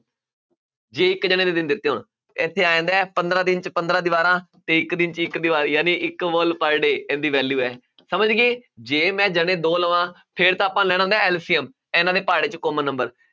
ਜੇ ਇੱਕ ਜਾਣੇ ਦੇ ਦਿਨ ਦਿੱਤੇ ਹੋਣ ਇੱਥੇ ਆ ਜਾਂਦਾ ਹੈ ਪੰਦਰਾਂ ਦਿਨ 'ਚ ਪੰਦਰਾਂ ਦੀਵਾਰਾਂ ਤੇ ਇੱਕ ਦਿਨ 'ਚ ਇੱਕ ਦੀਵਾਰ ਜਾਣੀ ਇੱਕ wall per day ਇਸਦੀ value ਹੈ ਸਮਝ ਗਏ, ਜੇ ਮੈਂ ਦੋ ਲਵਾਂ ਫਿਰ ਤਾਂ ਆਪਾਂ ਲੈਣਾ ਹੁੰਦਾ ਹੈ LCM ਇਹਨਾਂ ਦੇ ਪਹਾੜਾਂ 'ਚ common number